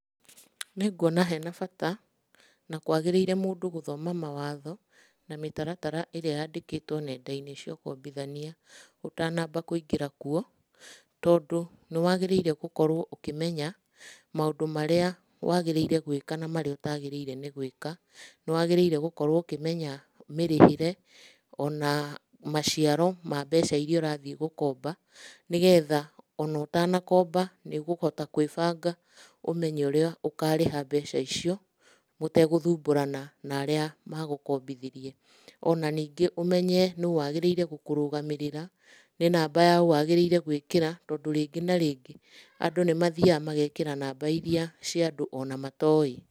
Nĩnguona he na bata, na kwagĩrĩire mũndũ gũthoma mawatho na mĩtaratara ĩrĩa yandĩkĩtwo nenda-inĩ cia ũkombithania, ũtanamba kũingĩra kuo. Tondũ nĩ wagĩrĩire gũkorwo ũkĩmenya, maũndũ marĩa wagĩrĩire gwĩka na marĩa ũtagĩrĩire nĩ gwĩka. Nĩ wagĩrĩire gũkorwo ũkĩmenya mĩrĩhĩre, o na maciaro ma mbeca iria ũrathiĩ gũkomba. Nĩ getha o na ũtanakomba, nĩ ũgũhota kwĩbanga ũmenye ũrĩa ũkarĩha mbeca icio mũtegũthumbũrana na arĩa magũkombithirie. Ona ningĩ ũmenye nũ wagĩrĩire gũkũrũgamĩrĩra, nĩ namba ya ũ wagĩrĩire gwĩkĩra. Tondũ rĩngĩ na rĩngĩ, andũ nĩmathiaga magekĩra namba iria cia andũ ona matoĩ.